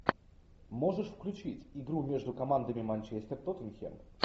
можешь включить игру между командами манчестер тоттенхэм